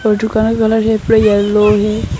और दुकान का कलर यहाँ पर येलो है।